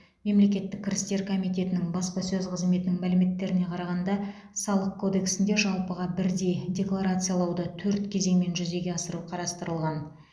мемлекеттік кірістер комитетінің баспасөз қызметінің мәліметтеріне қарағанда салық кодексінде жалпыға бірдей декларациялауды төрт кезеңмен жүзеге асыру қарастырылған